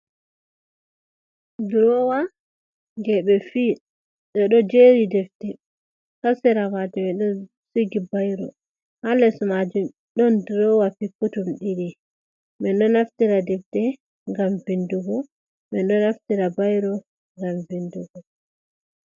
Drowa je ɓe fiyi, ɓe ɗo jeri defte ha sera majum ɓe ɗo sigi bairo, ha les majum ɗon durowa piputum ɗiɗi, min ɗo naftira defde ngam vindugo, min ɗo naftira bairo ngam bindugo.